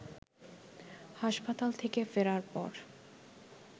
হাসপাতাল থেকে ফেরার পর